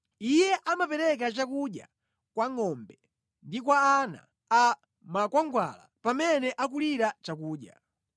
Iye amapereka chakudya kwa ngʼombe ndi kwa ana a makwangwala pamene akulira chakudya.